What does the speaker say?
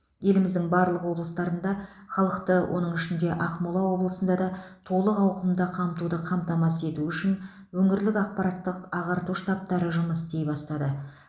еліміздің барлық облыстарында халықты оның ішінде ақмола облысында да толық ауқымда қамтуды қамтамасыз ету үшін өңірлік ақпараттық ағарту штабтары жұмыс істей бастады